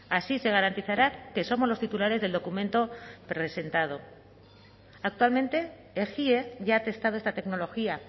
así se garantizará que somos los titulares del documento presentado actualmente ejie ya ha testado esta tecnología